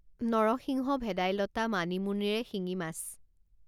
নৰসিংহ, ভেদাইলতা, মানিমুনিৰে শিঙি মাছ